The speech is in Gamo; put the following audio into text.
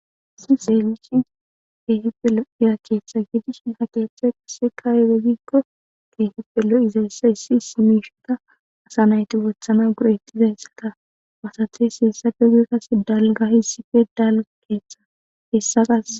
issi seemishin keehipe hiya keeththa gidishin ha keeththe qasse kaayewegiikko keehippelo izayssa issi issi miishota asa nayti wothana gurettizayssata wasathey heessape guy kase dalga issife dala keeththa hessaqas